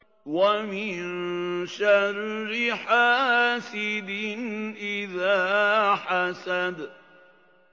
وَمِن شَرِّ حَاسِدٍ إِذَا حَسَدَ